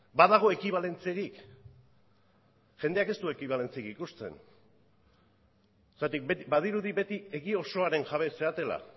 badago ekibalentziarik jendeak ez du ekibalentziarik ikusten zergatik badirudi beti egi osoaren jabe zaretela